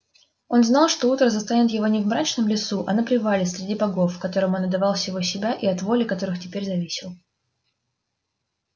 он знал что утро застанет его не в мрачном лесу а на привале среди богов которым он отдавал всего себя и от воли которых теперь зависел